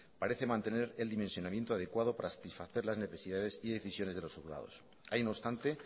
parece mantener el dimensionamiento adecuado para satisfacer las necesidades y decisiones de los juzgados hay no obstante